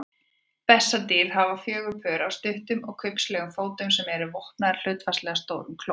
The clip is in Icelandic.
Bessadýr hafa fjögur pör af stuttum og kubbslegum fótum sem eru vopnaðir hlutfallslega stórum klóm.